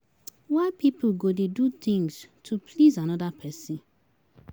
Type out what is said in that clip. Why people go dey do things to please another person.